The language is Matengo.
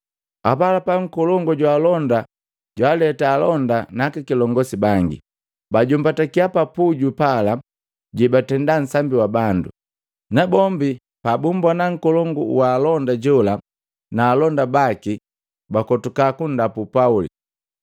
Apalapa, nkolongu jwaalonda jwaleta alonda na akilongosi bangi, bajombatakiya pa puju pala jebatenda nsambi wa bandu. Nabombi pabumbona nkolongu wa alonda jola na alonda baki, bakotuka kundapu Pauli.